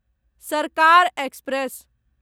सरकार एक्सप्रेस